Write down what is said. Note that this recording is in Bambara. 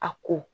A ko